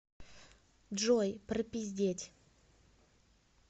джой пропиздеть